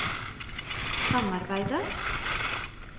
samarbeidet